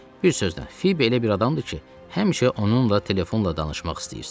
Bir sözlə, Fibi elə bir adamdır ki, həmişə onunla telefonla danışmaq istəyirsən.